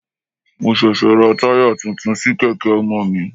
Mo ṣẹ̀ṣẹ̀ ra tire tuntun sí kèké ọmọ mi.